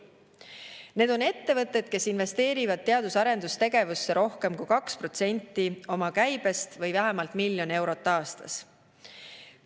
Need on ettevõtted, kes investeerivad teadus‑ ja arendustegevusse rohkem kui 2% oma käibest või vähemalt miljon eurot aastas.